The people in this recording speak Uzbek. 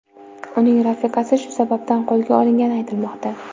Uning rafiqasi shu sababdan qo‘lga olingani aytilmoqda.